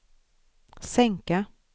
sänka